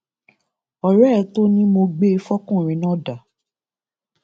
ọrẹ ẹ tó ò ní mo gbé fọkùnrin náà dà